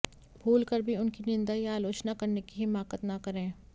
भूल कर भी उनकी निंदा या आलोचना करने की हिमाकत न करें